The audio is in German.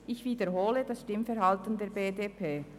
Ich wiederhole das Stimmverhalten der BDP: